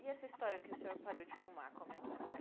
E essa história que o senhor parou de fumar, como é que foi?